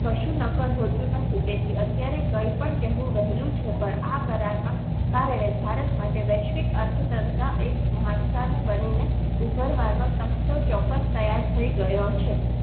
કશું નકર હોતું નથી તે થી અત્યારે કહેવું પણ વહેલું છે પણ આ કરારમાં કારણે ભારત માટે વૈશ્વિક અર્થતંત્ર એ મહત્વનું બનીને ઉભરવાનો તખતો તૈયાર ચોક્કસ થઈ ગયો છે.